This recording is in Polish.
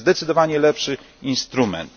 To jest zdecydowanie lepszy instrument.